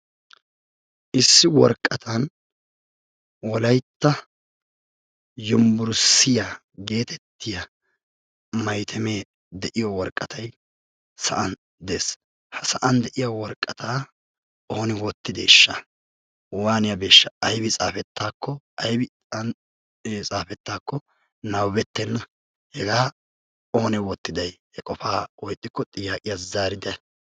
Issi woraqatan wolaytta yunbburusttiya geetettiya maytemee de"iyo woraqatayi sa"an de"es. Ha sa"an de"iya woraqataa ooni wottideeshsha? Waaniyabeeshsha? Aybi xaafettaakko aybi an xaafettaakko nababettenna hegaa oonee wottidayi he qofaa woykko xiyaaqiya zaarite.